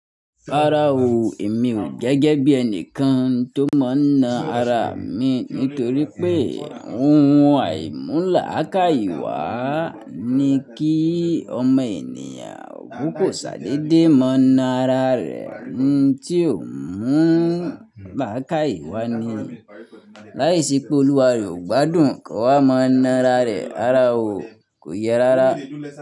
Rárá o, èmi ò gẹ́gẹ́ bí ẹni kan tó mọ ń na ara mi nítorí pé ohun àìmúlà lakaiye wà ni kí ọmọ ènìyàn kúkú ṣàdedé maa na ara rẹ̀. N tí o ń mú ń là ká ìwà ni, láìsí pé Olúwa rẹ̀ ò gbádùn kí ọ wá mọ ń na ara rẹ. Rárá o, kò yẹ rárá.